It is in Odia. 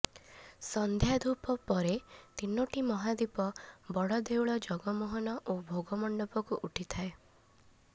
ସନ୍ଧ୍ୟା ଧୂପ ପରେ ତିନୋଟି ମହାଦୀପ ବଡଦେଉଳ ଜଗମୋହନ ଓ ଭୋଗମଣ୍ଡପକୁ ଉଠିଥାଏ